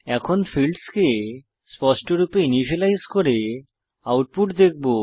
এখন ফীল্ডসকে স্পষ্টভাবে ইনিসিয়েলাইজ করে আউটপুট দেখব